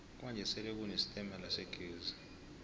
kwanje sele kune sitemala segezi